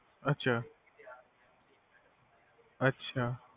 ਅੱਛਾ ਅੱਛਾ